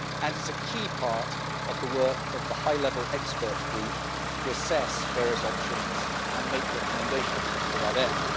it is a key part of the work of the high level expert group to assess various options and make recommendations to that end.